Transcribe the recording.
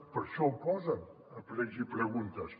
per això ho posen a precs i preguntes